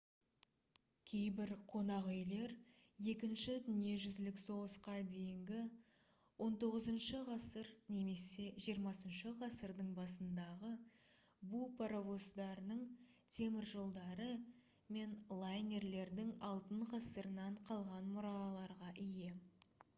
кейбір қонақ үйлер екінші дүниежүзілік соғысқа дейінгі 19-ғасыр немесе 20-ғасырдың басындағы бу паровоздарының теміржолдары мен лайнерлердің алтын ғасырынан қалған мұраларға ие